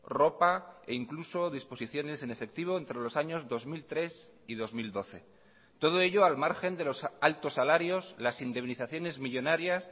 ropa e incluso disposiciones en efectivo entre los años dos mil tres y dos mil doce todo ello al margen de los altos salarios las indemnizaciones millónarias